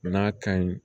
N'a ka ɲi